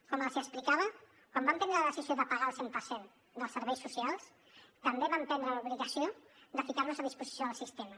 com els explicava quan vam prendre la decisió de pagar el cent per cent dels serveis socials també vam prendre l’obligació de posar nos a disposició del sistema